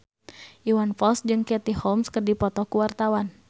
Iwan Fals jeung Katie Holmes keur dipoto ku wartawan